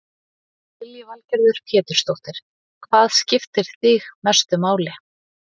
Lillý Valgerður Pétursdóttir: Hvað skiptir þig mestu máli?